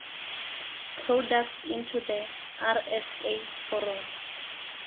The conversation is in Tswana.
products into the rsa foromo